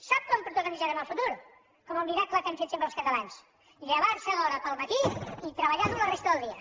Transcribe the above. sap com protagonitzarem el futur com el miracle que hem fet sempre els catalans llevar se d’hora al matí i treballar dur la resta del dia